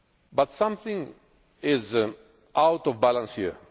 it yet. But something is out of balance